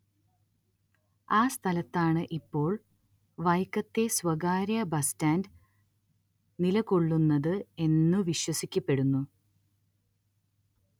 ആ സ്ഥലത്താണ് ഇപ്പോൾ വൈക്കത്തെ സ്വകാര്യ ബസ് സ്റ്റാന്റ് നിലകൊള്ളുന്നത് എന്നു വിശ്വസിക്കപ്പെടുന്നു